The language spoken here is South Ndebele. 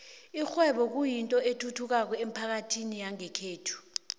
ikghwebo kuyinto ethuthukako emphakathini yangekhethu